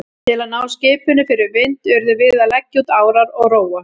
Til að ná skipinu fyrir vind urðum við að leggja út árar og róa.